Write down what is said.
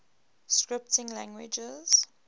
scripting languages